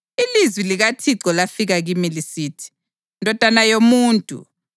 Ilizwi likaThixo lafika kimi lisithi: